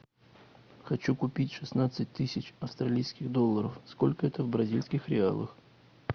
хочу купить шестнадцать тысяч австралийских долларов сколько это в бразильских реалах